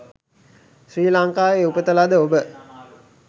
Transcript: ශ්‍රී ලංකාවේ උපත ලද ඔබ